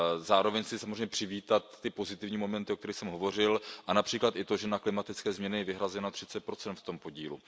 Zároveň chci samozřejmě přivítat ty pozitivní momenty, o kterých jsem hovořil, a například i to, že na klimatické změny je vyhrazeno 30 v tom podílu.